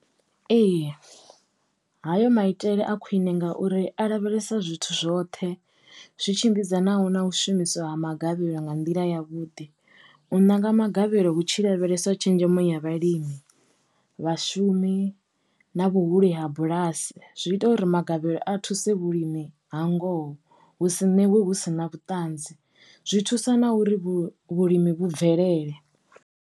Ee. Hayo maitele a khwine ngauri a lavhelesa zwithu zwoṱhe zwi tshimbidza naho na u shumiswa ha magavhelo nga nḓila ya vhuḓi. U ṋanga magavhelo hu tshi lavhelesa tshenzhemo ya vhalimi vhashumi, na vhuhulu ha bulasi zwi ita uri magavhelo a thuse vhulimi ha ngoho hu si ṋewe hu sina vhuṱanzi zwi thusa na uri vhulimi vhu bvelele.